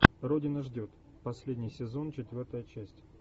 родина ждет последний сезон четвертая часть